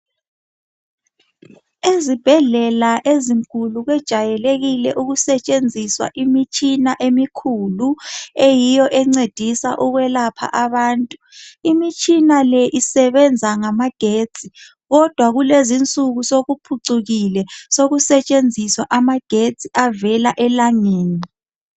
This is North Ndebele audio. ezibhedlela ezinkulu kwejayelekile ukusetshenziswa imitshina emikhulu eyiyo encedisa ukwelapha abantu imitshina le isebenza ngamagetsi kodwa kulezinsuku sokuphucukile sokusetshenziswa amagetsi avela elangeni